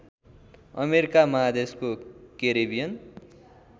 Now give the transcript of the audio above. America महादेशको Caribbean